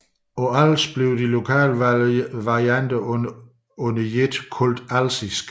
På Als kaldes de lokale varianter under ét alsisk